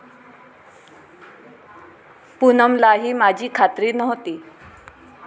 पूनमलाही माझी खात्री नव्हती.